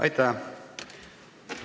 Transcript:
Aitäh!